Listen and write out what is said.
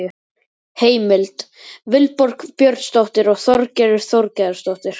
Heimild: Vilborg Björnsdóttir og Þorgerður Þorgeirsdóttir.